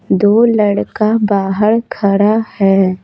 दो लड़का बाहर खड़ा है।